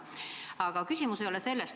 Aga küsimus ei ole selles.